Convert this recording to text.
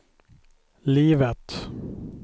livet